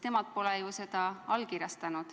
Nemad pole ju seda allkirjastanud.